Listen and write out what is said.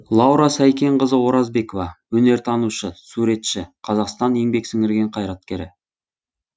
лаура сәйкенқызы оразбекова өнертанушы суретші қазақстанның еңбек сіңірген қайраткері